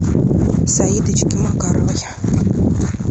саидочке макаровой